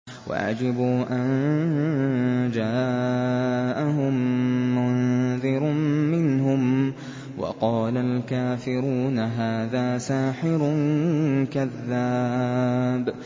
وَعَجِبُوا أَن جَاءَهُم مُّنذِرٌ مِّنْهُمْ ۖ وَقَالَ الْكَافِرُونَ هَٰذَا سَاحِرٌ كَذَّابٌ